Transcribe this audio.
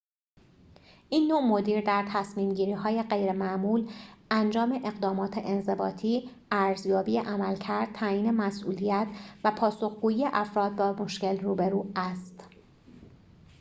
این نوع مدیر در تصمیم‌گیری‌های غیرمعمول انجام اقدامات انضباطی ارزیابی عملکرد تعیین مسئولیت و پاسخگویی افراد با مشکل روبرو است